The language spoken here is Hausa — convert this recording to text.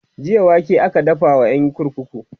jiya wake aka dafa wa ƴan kurkuku